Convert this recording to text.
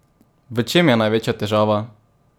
V čem je največja težava?